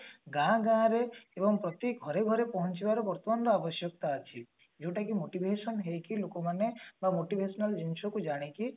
ଗାଁ ଗାଁ ରେ ଅବୋଙ୍ଗ ପ୍ରତି ଘରେ ଘରେ ପହଞ୍ଚିବାର ଦରାକର ଆବଶ୍ୟକତା ଅଛି ଯୋଉଟା କି motivation ହେଇକି ଲୋକମାନେ ବା motivational ଜିନିଷ କୁ ଜାଣିକି